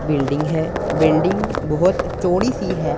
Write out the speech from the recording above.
Building है building बहुत चौड़ी सी है।